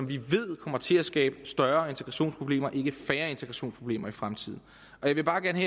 vi ved kommer til at skabe større integrationsproblemer og ikke færre integrationsproblemer i fremtiden jeg vil bare gerne